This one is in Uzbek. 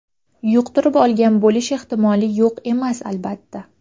Yuqtirib olgan bo‘lish ehtimoli yo‘q emas, albatta.